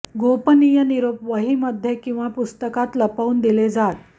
गोपनीय निरोप वहीमध्ये किंवा पुस्तकात लपवून दिले जात